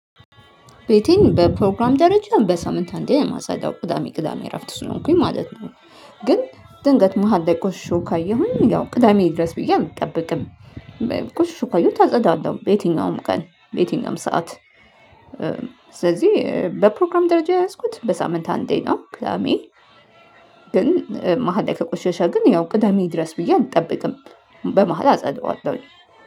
ቤቴን በፕሮግራም ደረጃ በሳምንት አንዴ የማጸዳው ቅዳሜ ቅዳሜ እረፍት ስለሆንኩኝ ማለት ነው። ግን ድንገት መሃል ላይ ቆሽሾ ካየሁኝ ያው ቅዳሜ ይድረስ ብዬ አልጠብቅም። ቆሽሾ ካየሁት አጸዳለሁ በየትኛውም ቀን በየትኛውም ሰዓት። ስለዚህ በፕሮግራም ደረጃ የያዝኩት በሳምንት አንዴ ነው ቅዳሜ። ግን መሃል ላይ ከቆሸሸ ግን ያው ቅዳሜ ይድረስ ብዬ አልጠብቅም። በመሃል አጸዳዋለሁኝ